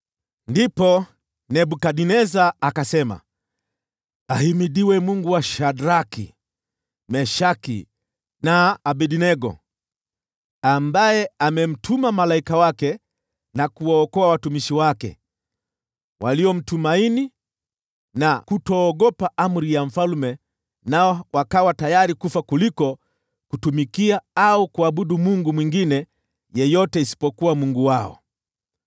Ndipo Nebukadneza akasema, “Ahimidiwe Mungu wa Shadraki, Meshaki na Abednego, ambaye amemtuma malaika wake na kuwaokoa watumishi wake. Walimtumaini na kukaidi amri ya mfalme, nao wakawa tayari kufa kuliko kutumikia au kuabudu mungu mwingine yeyote isipokuwa Mungu wao.